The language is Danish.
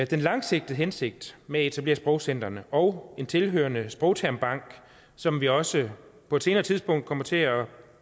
den langsigtede hensigt med at etablere sprogcentrene og en tilhørende sprogtermbank som vi også på et senere tidspunkt kommer til at